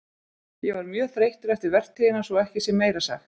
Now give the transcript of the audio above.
Ég var mjög þreyttur eftir vertíðina svo að ekki sé meira sagt.